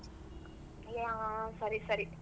ಹಾ ಸರಿ ಸರಿ.